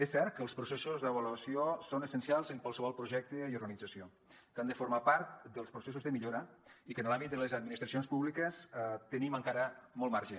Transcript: és cert que els processos d’avaluació són essencials en qualsevol projecte i organització que han de formar part dels processos de millora i que en l’àmbit de les administracions públiques tenim encara molt marge